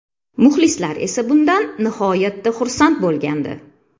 Muxlislar esa bundan nihoyatda xursand bo‘lgandi.